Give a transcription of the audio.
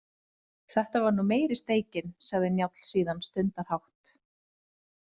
Þetta var nú meiri steikin, sagði Njáll síðan stundarhátt.